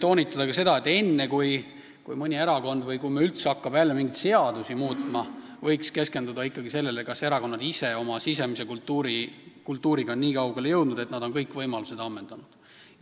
toonitada seda, et enne kui mõni erakond või Riigikogu hakkab jälle mingeid seadusi muutma, võiks keskenduda sellele, kas erakonnad ise oma sisemise kultuuriga on nii kaugele jõudnud, et nad on kõik võimalused ammendanud.